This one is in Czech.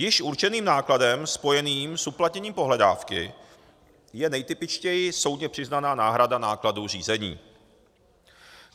Již určeným nákladem spojeným s uplatněním pohledávky je nejtypičtěji soudně přiznaná náhrada nákladů řízení.